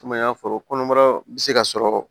Komi an y'a fɔ kɔnɔbara bɛ se ka sɔrɔ